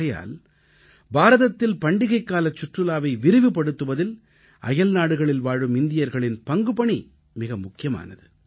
ஆகையால் பாரதத்தில் பண்டிகைக்காலச் சுற்றுலாவை விரிவுபடுத்துவதில் அயல்நாடுகளில் வாழும் இந்தியர்களின் பங்குபணி மிக முக்கியமானது